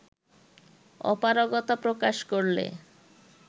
অপারগতা প্রকাশ করলে